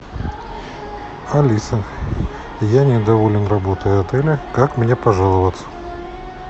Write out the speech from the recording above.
алиса я недоволен работой отеля как мне пожаловаться